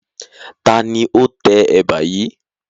Taàní ó tẹ Ẹ̀bà yìí?